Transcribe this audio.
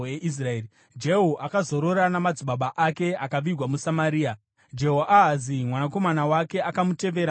Jehu akazorora namadzibaba ake akavigwa muSamaria. Jehoahazi mwanakomana wake akamutevera paumambo.